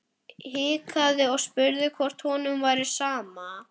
Hikaði og spurði hvort honum væri sama.